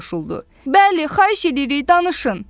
Bəli, xahiş edirik, danışın.